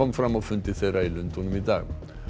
fram á fundi þeirra í Lundúnum í dag